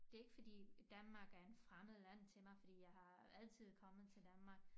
Det ikke fordi Danmark er en fremmed land til mig fordi jeg har altid kommet til Danmark